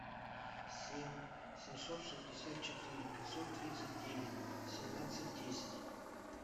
семь семьсот шестьдесят четыре пятьсот тридцать девять семнадцать десять